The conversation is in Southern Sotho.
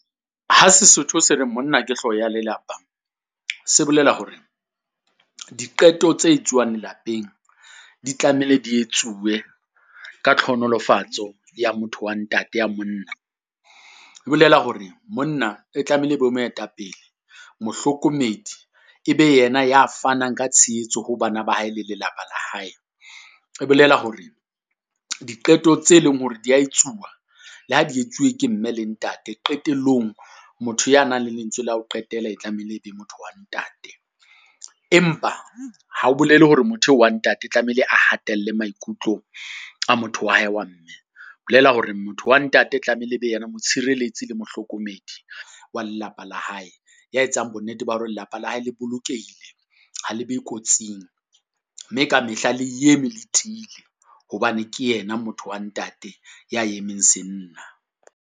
Ha Sesotho se reng monna ke hlooho ya lelapa, se bolela hore diqeto tse etsuwang lapeng. Di tlamehile di etsuwe, ka tlhonolofatso ya motho wa ntate ya monna, e bolela hore monna e tlamehile e be moetapele, mohlokomedi e be yena ya fanang ka tshehetso ho bana ba hae le lelapa la hae. E bolela hore diqeto tse leng hore di ya etsuwa, le ha di etsuwe ke mme le ntate. Qetellong motho ya nang le lentswe la ho qetela e tlamehile e be motho wa ntate. Empa ha ho bolele hore motho eo wa ntate tlamehile a hatella maikutlo a motho wa hae wa mme, bolela hore motho wa ntate tlamehile e be yena motshireletsi le mohlokomedi wa lelapa la hae. Ya etsang bonnete ba hore lelapa la hae le bolokehile, ha le be kotsing, mme ka mehla le eme le tiile hobane ke yena motho wa ntate ya emeng se nna.